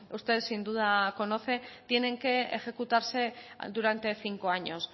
ustedes sin duda conocen tienen que ejecutarse durante cinco años